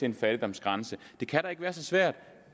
en fattigdomsgrænse det kan da ikke være så svært